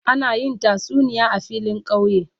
Ana yin tasuniya a filin kauye.